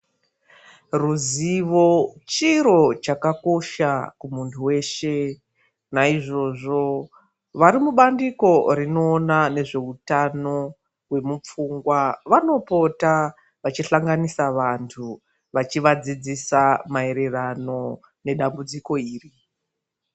Ruzivo chiro chakakosha kumuntu weshe naizvozvo varimubandiko rinoona nezveutano kwemupfungwa vanopota vachihlanganisa vantu vachivadzidzisa maererano nedambudziko iri.